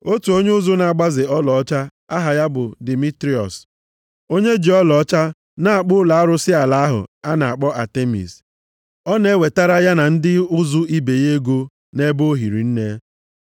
Otu onye ụzụ na-agbaze ọlaọcha, aha ya bụ Dimitriọs, onye ji ọlaọcha na-akpụ ụlọ arụsị ala ahụ a na-akpọ Atemis. Ọ na-ewetara ya na ndị ụzụ ibe ya ego nʼebe o hiri nne.